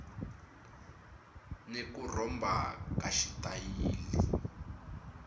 ni ku rhomba ka xitayili